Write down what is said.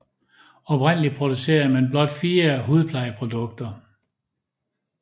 Oprindeligt producerede man blot fire hudplejeprodukter